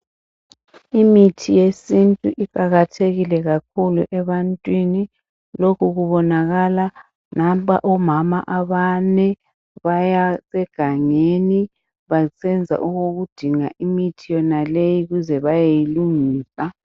Imithi yesintu iqakathekile kakhulu ebantwini lokhu kubonakala nampa omama abane baya egangeni basenza okokudinga imithi yonaleyi ukuze bayeyilungisa.